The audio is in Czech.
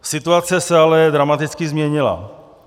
Situace se ale dramaticky změnila.